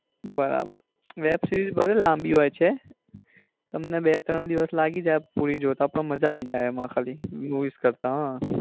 બરાબર web series ભલે લાંબી હોય છે તમને બે ત્રણ દિવસ લાગી જાય પુરી જોતા પણ માજા આવી જાય એમાં ખાલી movies કરતા હમ